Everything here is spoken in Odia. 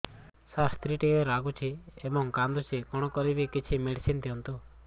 ସାର ସ୍ତ୍ରୀ ଟିକେ ରାଗୁଛି ଏବଂ କାନ୍ଦୁଛି କଣ କରିବି କିଛି ମେଡିସିନ ଦିଅନ୍ତୁ